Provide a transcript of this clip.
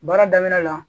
Baara daminɛ la